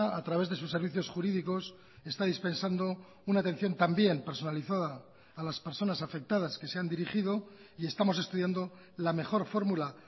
a través de sus servicios jurídicos está dispensando una atención también personalizada a las personas afectadas que se han dirigido y estamos estudiando la mejor fórmula